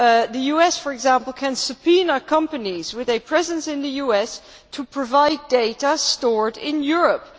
The US, for example, can subpoena companies with a presence in the US to provide data stored in Europe.